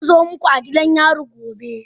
Zan zo muku a gidan yari gobe.